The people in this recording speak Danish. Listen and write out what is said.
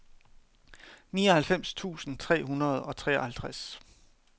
nioghalvfems tusind tre hundrede og treoghalvtreds